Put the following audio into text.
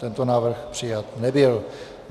Tento návrh přijat nebyl.